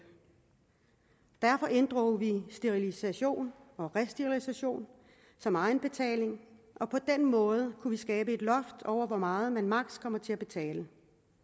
derfor inddrog vi sterilisation og resterilisation som egenbetaling og på den måde kunne vi skabe et loft over hvor meget man maksimum kommer til at betale